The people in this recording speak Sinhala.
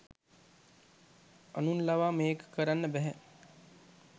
අනුන් ලවා මේක කරන්න බැහැ.